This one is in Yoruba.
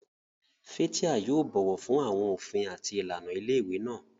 Fathia yóò bọ̀wọ̀ fún àwọn òfin àti ìlànà ilé ìwé náà.